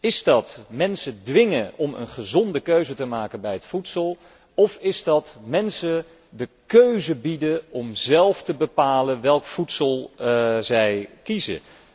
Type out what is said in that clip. Is dat mensen dwingen om een gezonde keuze te maken bij het voedsel of is dat mensen de keuze bieden om zelf te bepalen welk voedsel zij kiezen?